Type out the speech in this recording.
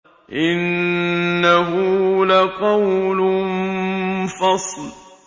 إِنَّهُ لَقَوْلٌ فَصْلٌ